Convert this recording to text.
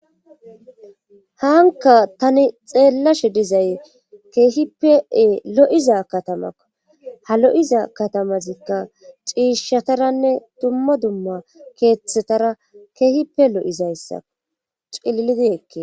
hanka tani xeellashe dizay keehipee lo7iza katamako ha lo7iza katamazikka ciishataranne dumma dumma keeththetara keehipe lo7izayssao cillidi hekke